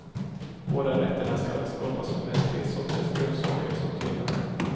Båda rätterna skall skapas med tre sorters grönsaker som tillbehör.